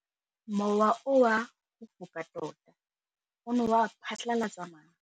Mowa o wa go foka tota o ne wa phatlalatsa maru.